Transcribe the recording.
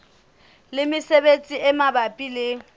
le mesebetsi e mabapi le